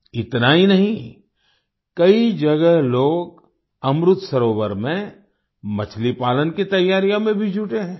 इतना ही नहीं कई जगह लोग अमृत सरोवर में मछली पालन की तैयारियों में भी जुटे हैं